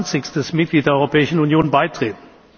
28. Mitglied der Europäischen Union beitreten.